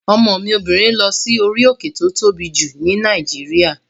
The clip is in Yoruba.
Ọmọ mi obìnrin lọ sí orí òkè tí ó tóbi jù ní Nàìjíríà